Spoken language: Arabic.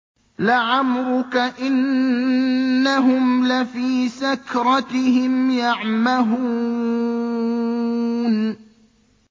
لَعَمْرُكَ إِنَّهُمْ لَفِي سَكْرَتِهِمْ يَعْمَهُونَ